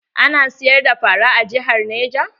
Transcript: Ana siyar da fara a jihar neja?